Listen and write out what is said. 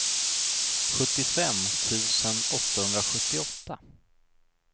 sjuttiofem tusen åttahundrasjuttioåtta